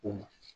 O ma